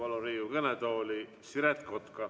Ma palun Riigikogu kõnetooli Siret Kotka!